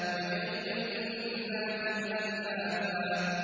وَجَنَّاتٍ أَلْفَافًا